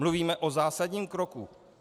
Mluvíme o zásadním kroku.